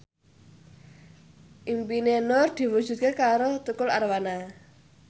impine Nur diwujudke karo Tukul Arwana